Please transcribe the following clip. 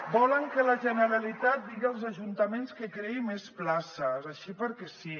volen que la generalitat digui als ajuntaments que creïn més places així perquè sí